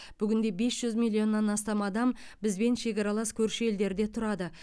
бүгінде бес жүз миллионнан астам адам бізбен шекаралас көрші елдерде тұрады